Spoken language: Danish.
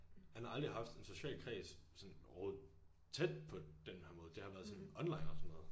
Han har aldrig haft en social kreds sådan overhoved tæt på den her måde. Det har været sådan online og sådan noget